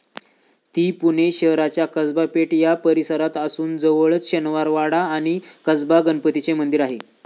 ती पुणे शहराच्या कसबा पेठ या परिसरात असून जवळच शनिवारवाडा आणि कसबा गणपतीचे मंदिर आहे.